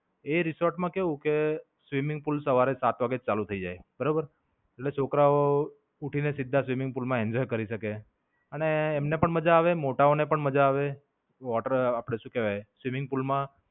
એ resort માં કેવું કે, swimming pool સવારે સાત વાગ્યે ચાલુ થઇ જાય બરોબર. એટલે છોકરાઓ ઉઠીને સીધા swimming pool માં enjoy કરી શકે. અને એમને પણ મજા આવે મોટા ઓ ને પણ મજા આવે. water આપડે શું કહેવાય swimming pool માં.